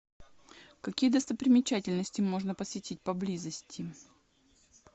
какие достопримечательности можно посетить поблизости